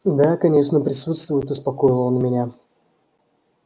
да конечно присутствуют успокоил он меня